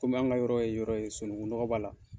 Kɔmi an ka yɔrɔ ye yɔrɔ ye sonunŋu nɔgɔ b'a la.